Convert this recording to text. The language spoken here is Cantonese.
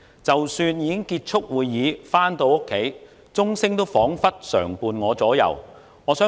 即使已經結束會議回家，鐘聲彷彿常伴我左右。